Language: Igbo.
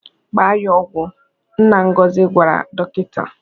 "Gbaa ya ọgwụ," Nna Ngozi gwara dọkịta.